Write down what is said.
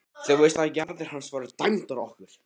Þú veist að jarðir hans voru dæmdar okkur!